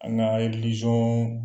An ka